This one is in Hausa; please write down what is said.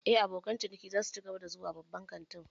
Eh, abokan ciniki za su cigaba da zuwa babban kantin